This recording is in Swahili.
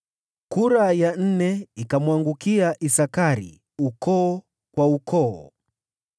Kura ya nne ikamwangukia Isakari, ukoo kwa ukoo.